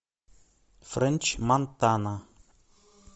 френч монтана